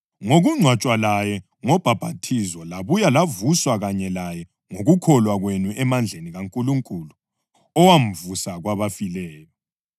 ngokungcwatshwa laye ngobhaphathizo labuye lavuswa kanye laye ngokukholwa kwenu emandleni kaNkulunkulu owamvusa kwabafileyo.